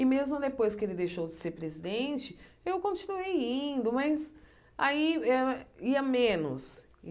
E mesmo depois que ele deixou de ser presidente, eu continuei indo, mas aí eh ia menos.